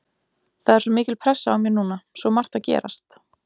Það er svo mikil pressa á mér núna, svo margt að gerast.